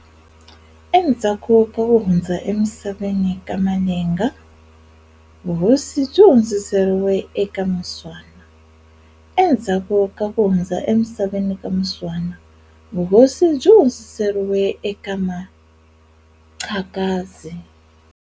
E ndzhaku ka ku hundza e misaveni ka Malenga, vuhosi byi hundzerile eka Muswana. E ndzhaku ka ku hundza e misaveni ka Muswana, vuhosi byi hundzerile eka Maxakadzi.